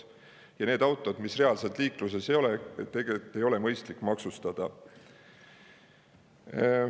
Ja autosid, mis reaalselt liikluses ei ole, tegelikult ei ole mõistlik maksustada.